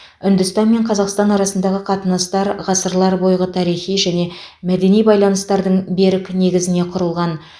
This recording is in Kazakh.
үндістан мен қазақстан арасындағы қатынастар ғасырлар бойғы тарихи және мәдени байланыстардың берік негізіне құрылған